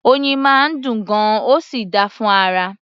Oyin máa ń dùn gan-an, ó sì dáa fún ara